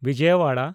ᱵᱤᱡᱚᱭᱟᱣᱟᱲᱟ